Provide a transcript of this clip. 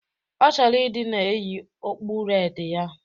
Ọ chọrọ ịdị na-eyi okpu redi a